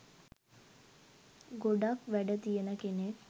ගොඩක් වැඩ තියෙන කෙනෙක්.